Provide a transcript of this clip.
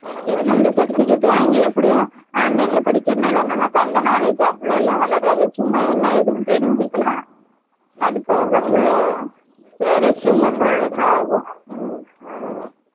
என்ன இந்த certificate வாங்கி எப்படியும் online ல படிக்கிறனால நமக்கு அந்த knowledge அவலோ லாம் வளராது சும்மா என்ன எதுன்னு தெரிஞ்சி கிடாலம் அது போக resume ல போடுறதுக்கு ஆகும்.